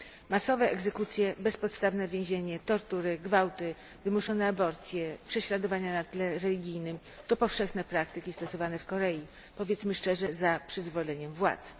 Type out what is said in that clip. Masowe egzekucje, bezpodstawne więzienie, tortury, gwałty, wymuszone aborcje i prześladowania na tle religijnym to powszechne praktyki stosowane w Korei, powiedzmy szczerze, za przyzwoleniem władz.